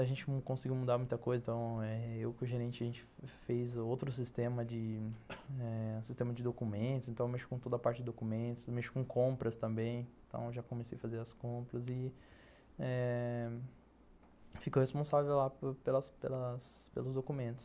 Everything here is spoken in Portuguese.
A gente não conseguiu mudar muita coisa, eh ...então eu e o gerente fez outro sistema de eh documentos, então eu mexo com toda a parte de documentos, mexo com compras também, então já comecei a fazer as compras e eh... fico responsável lá pelas pelos pelos documentos.